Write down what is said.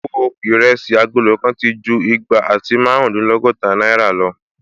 Owó Ìrẹsí agolo kan ti ju igba àti márùndínlọ́gọ́ta náìrà lọ